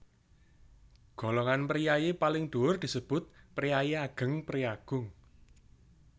Golongan priyayi paling dhuwur disebut Priayi Ageng priyagung